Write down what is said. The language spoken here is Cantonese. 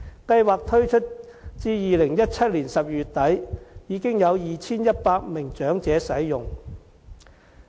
計劃推出至2017年12月底，已經有 2,100 名長者使用。